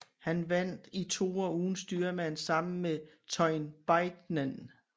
Han vandt i toer uden styrmand sammen med Teun Beijnen